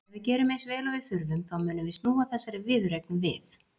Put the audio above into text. Ef við gerum eins vel og við þurfum þá munum við snúa þessari viðureign við.